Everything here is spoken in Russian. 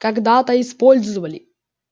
когда-то использовали